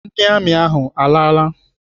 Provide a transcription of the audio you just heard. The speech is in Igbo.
Ndị amị ahụ alaala?